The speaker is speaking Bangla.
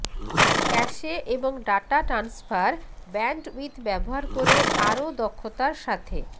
ক্যাশে এবং ডাটা ট্রান্সফার ব্যান্ডউইথ ব্যবহার করে আরও দক্ষতার সাথে